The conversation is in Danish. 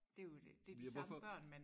Det jo dét det de samme børn man